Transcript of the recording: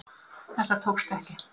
Þetta tókst ekki